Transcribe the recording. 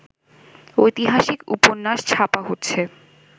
ঐতিহাসিক উপন্যাস ছাপা হচ্ছে